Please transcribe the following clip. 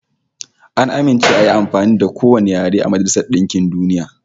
An amince ayi amfani da kowane yare a Majailsar DInkin DUniya